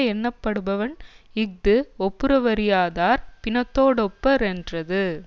எண்ணப்படுவன் இஃது ஒப்புரவறியாதார் பிணத்தோ டொப்ப ரென்றது